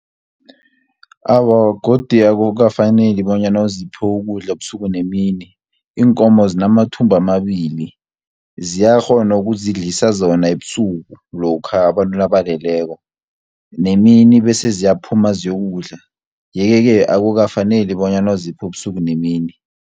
Awa godu akukafaneli bonyana ziphiwe ukudla ebusuku nemini. Iinkomo zinamathumbu amabili, ziyakghona ukuzidlisa zona ebusuku, lokha abantu nabaleleko. Nemini bese ziyaphuma zokudla, yeke-ke akukafaneli bonyana uziphe ubusuku nemini.